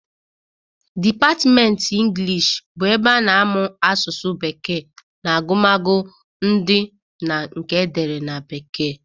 Dipatmenti Ịnglish bụ ebe a na-amụ asụsụ bekee na agụmagụ ndị na nke edere na bekee.